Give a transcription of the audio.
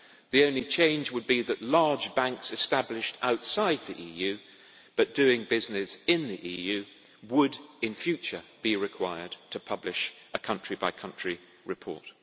The only change would be that large banks established outside the EU but doing business inside it would in future be required to publish a country by country report.